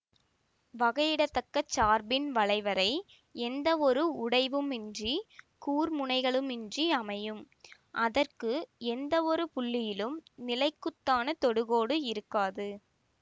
வகையிட தக்க சார்பின் வளைவரை எந்தவொரு உடைவுமின்றி கூர்முனைகளுமின்றி அமையும் அதற்கு எந்தவொரு புள்ளியிலும் நிலைக்குத்தான தொடுகோடு இருக்காது